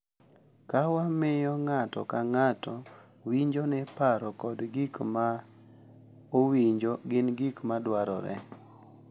Ka wamiyo ng’ato ka ng’ato winjo ni paro kod gik ma owinjo gin gik ma dwarore.